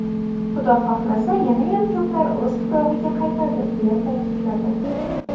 Xudo xohlasa, yanayam ko‘plari o‘z tuprog‘iga qaytadi”, deya ta’kidladi.